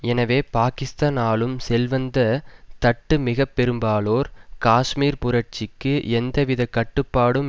எனவே பாகிஸ்தான் ஆளும் செல்வந்த தட்டு மிக பெரும்பாலோர் காஷ்மீர் புரட்சிக்கு எந்தவித கட்டுப்பாடும்